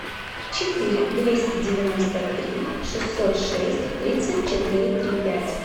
четыре двести девяносто три шестьсот шесть тридцать четыре три пять